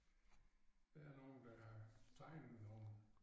Der nogen der har tegnet nogle